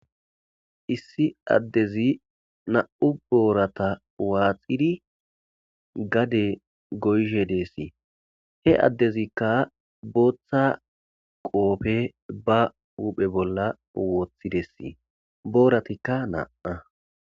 issi addezi na7u boorata waaxidi gade goyhe deessi he addezikka booththa qoofe ba uphe bolla wooththidesii booratikka naaa